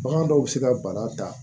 Bagan dɔw bɛ se ka bana ta